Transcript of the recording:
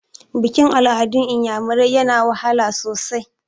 Bikin-al'adun iyamirai yana wahala sosai.